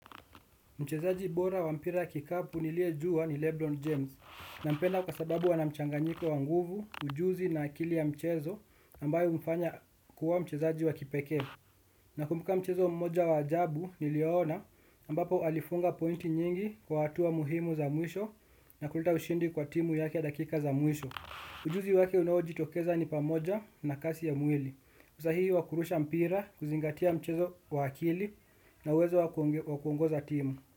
Mchezaji bora wa mpira kikapu niliyejua ni Lebron James nampenda kwa sababu anamchanganyiko wa nguvu, ujuzi na akili ya mchezo ambayo humfanya kuwa mchezaji wa kipekee. Nakumbuka mchezo mmoja wa ajabu niliona ambapo alifunga pointi nyingi kwa hatua muhimu za mwisho na kuleta ushindi kwa timu yake dakika za mwisho. Ujuzi wake unaojitokeza ni pamoja na kasi ya mwili. Usahii wa kurusha mpira kuzingatia mchezo wa akili na uwezo wa kuongoza timu.